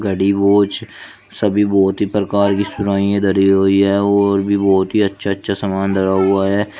घड़ी वॉच सभी बहुत ही प्रकार कि सुराइयां धरी हुई है और भी बहुत ही अच्छा अच्छा सामान धरा हुआ है।